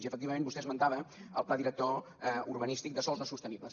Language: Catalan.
i efectivament vostè esmentava el pla director urbanístic de sòls no sostenibles